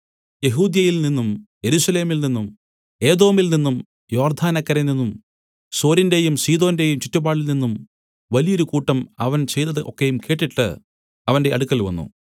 യെഹൂദ്യയിൽ നിന്നും യെരൂശലേമിൽ നിന്നും ഏദോമിൽ നിന്നും യോർദ്ദാനക്കരെനിന്നും സോരിന്റെയും സീദോന്റെയും ചുറ്റുപാടിൽനിന്നും വലിയൊരു കൂട്ടം അവൻ ചെയ്തതു ഒക്കെയും കേട്ടിട്ട് അവന്റെ അടുക്കൽ വന്നു